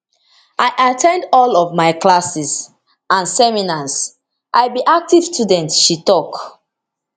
i at ten d all of my classes and seminars i be active student she tok